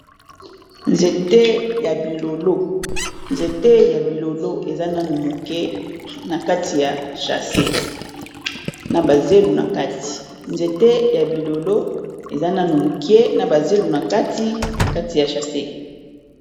Nzete ya bilolo, nzete ya bilolo eza nanu moke na kati ya chase na ba zelu na kati, nzete ya bilolo eza nanu moke na ba zelu na kati na kati ya chase.